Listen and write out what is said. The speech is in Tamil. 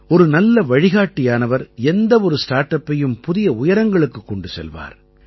ஒரு நல்ல வழிகாட்டியானவர் எந்த ஒரு ஸ்டார்ட் அப்பையும் புதிய உயரங்களுக்குக் கொண்டு செல்வார்